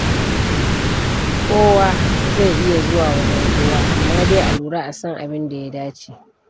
Kowa zai iya zuwa wajen kowa amma dai a lura a san abin da ya dace.